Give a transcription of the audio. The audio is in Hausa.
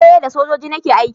eh da sojoji nake aiki.